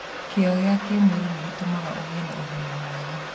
Kĩyo gĩa kĩmwĩrĩ nĩ gĩtũmaga ũgĩe na ũgima mwega.